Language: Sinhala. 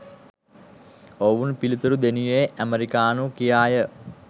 ඔවුන් පිළිතුරු දෙනුයේ 'ඇමෙරිකානු' කියාය.